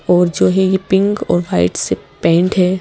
और जो ये पिंक और व्हाइट से पेंट है।